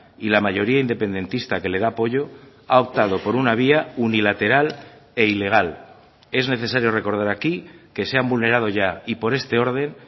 y la mayoría independentista que le da apoyo ha optado por una vía unilateral e ilegal es necesario recordar aquí que se han vulnerado ya y por este orden